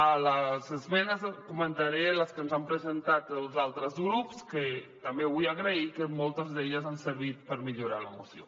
a les esmenes comentaré les que ens han presentat els altres grups que també vull agrair que moltes d’elles han servit per millorar la moció